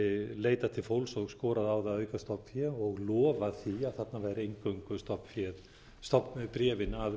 leitað til fólks og skorað á það að auka stofnfé og lofað því að þarna væri eingöngu stofnbréfin að